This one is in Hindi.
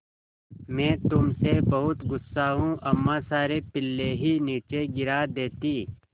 मैं तुम से बहुत गु़स्सा हूँ अम्मा सारे पिल्ले ही नीचे गिरा देतीं